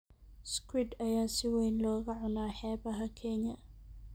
Squid ayaa si weyn looga cunaa xeebaha Kenya.